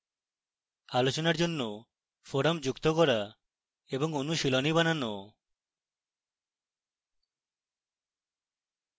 আলোচনার জন্য forum যুক্ত করা এবং অনুশীলনী বানানো